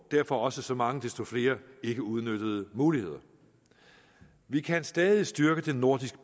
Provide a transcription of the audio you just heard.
derfor også så mange desto flere ikkeudnyttede muligheder vi kan stadig styrke det nordisk